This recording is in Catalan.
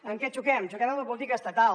en què xoquem xoquem en la política estatal